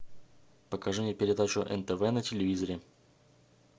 покажи мне передачу нтв на телевизоре